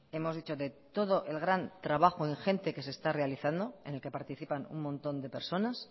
hemos dicho de todo el gran trabajo ingente que se está realizando en el que participan un montón de personas